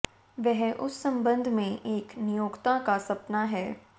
वह उस संबंध में एक नियोक्ता का सपना है